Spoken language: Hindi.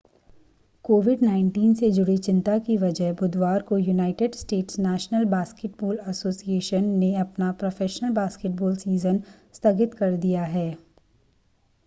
कोविड-19 से जुड़ी चिंता की वजह बुधवार को United States National Basketball Association nba ने अपना प्रोफ़ेशनल बास्केटबॉल सीज़न स्थगित कर दिया है